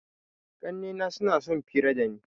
Ƙannena suna sun fira dani.